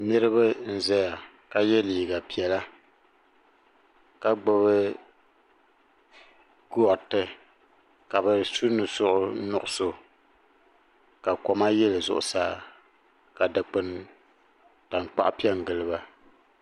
niraba n ʒɛya ka yɛ liiga piɛla ka gbubi gariti ka bi su nusuri nuɣso koma yili zuɣusaa ka dikpuni tankpaɣu piɛ n giliba